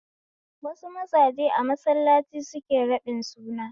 Wasu mazaje a mallaci suke raɗin suna